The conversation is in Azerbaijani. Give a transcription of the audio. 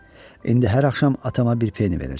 İndi hər axşam atama bir peni verəcəm.